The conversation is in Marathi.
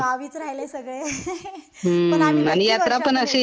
गावीच राहिले सगळे. हसून पण आम्ही भेटतो वर्षातून.